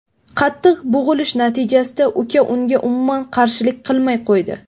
Qattiq bo‘g‘ilish natijasida uka unga umuman qarshilik qilmay qo‘ydi.